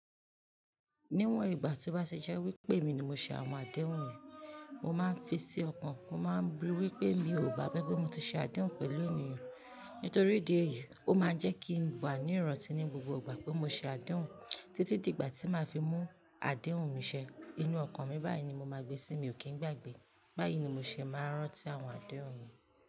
Níwọ̀n ìgbà tí ó bá ṣẹṣẹ wí pé mi ni mo ṣe àwọn àdéhùn mi, mo máa ń fi sí ọkàn, mo má ń rí wí pé mi ò gbàgbé pé mo ti ṣe àdéhùn pẹ̀lú ènìyàn. Nítorí ìdí èyí, ó máa ń jẹ́ kí n wá ní ìrántí ní gbogbo ìgbà pé mo ṣe àdéhùn títí di ìgbà tí màá fi mú àdéhùn mi ṣẹ. Inú ọkàn mi báyìí ni mo máa gbé sí i, mi ò kí ń gbàgbé. Báyìí ni mo ṣe máa ń rántí àwọn àdéhùn mi.